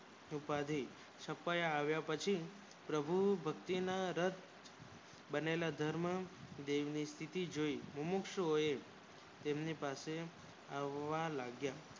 ઉપાડી છુપાય આવ્યા પછી પ્રભુ ભક્તિ માં બનેલા ધર્મદેવી ની સ્તિથી જોય મોમક્સગુએ એમની પાસે આવવ લાગ્યા